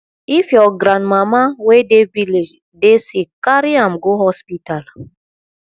if your grandmama wey dey village dey sick carry am go hospital